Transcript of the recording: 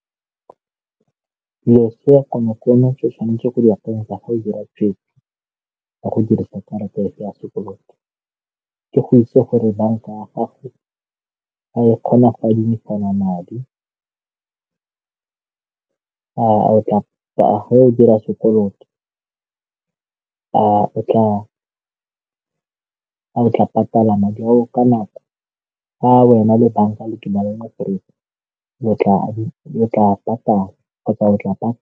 Dilo tsa konokono tse o tshwanetseng go di akanyetsa go dira tshweetso ka go dirisa karata ya sekoloto ke go itse gore banka ya gago ga e kgona go adimisana madi, fa o dira sekoloto o tla patala madi ao ka nako ke wena le banka ke na le o tla patala.